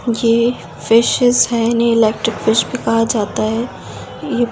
यह फिशेज है इन्हे इलेक्ट्रिक फिश भी कहा जाता है यह ।